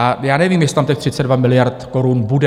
A já nevím, jestli tam těch 32 miliard korun bude.